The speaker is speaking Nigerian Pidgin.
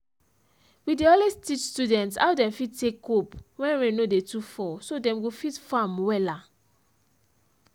we dey always teach students how dem fit take cope when rain no dey too fall so dem go fit farm wella